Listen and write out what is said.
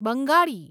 Bengali